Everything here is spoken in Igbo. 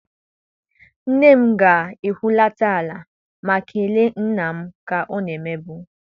Nne m ga-ehulata ala ma kelee nna m ka ọ na-emebu.